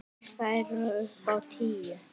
Þær eru upp á tíu.